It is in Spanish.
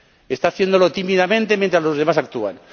Está haciéndolo tímidamente mientras los demás actúan.